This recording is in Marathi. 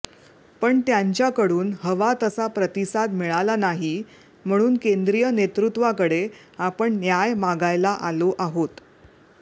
पण त्यांच्याकडून हवा तसा प्रतिसाद मिळाला नाही म्हणून केंद्रीय नेतृत्वाकडे आपण न्याय मागायला आलो आहोत